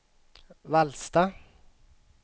Vallsta